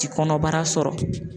Ti kɔnɔbara sɔrɔ.